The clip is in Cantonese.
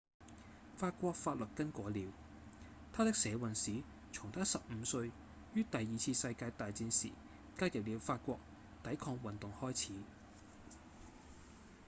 法國法律更改了他的社運史從他十五歲於第二次世界大戰時加入了法國抵抗運動開始